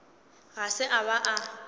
ga se a ba a